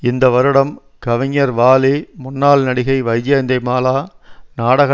இந்த வருடம் கவிஞர் வாலி முன்னாள் நடிகை வைஜெயந்திமாலா நாடக